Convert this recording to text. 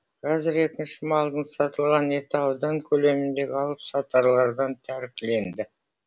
қазір екінші малдың сатылған еті аудан көлеміндегі алып сатарлардан тәркіленді